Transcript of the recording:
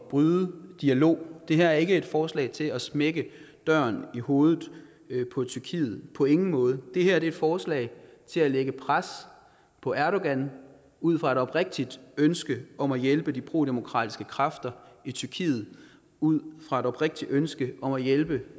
bryde dialogen det her er ikke et forslag til at smække døren i hovedet på tyrkiet på ingen måde det her er et forslag til at lægge pres på erdogan ud fra et oprigtigt ønske om at hjælpe de prodemokratiske kræfter i tyrkiet og ud fra et oprigtigt ønske om at hjælpe